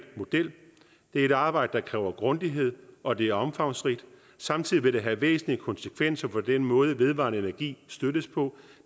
model det er et arbejde der kræver grundighed og det er omfangsrigt og samtidig vil det have væsentlige konsekvenser for den måde vedvarende energi støttes på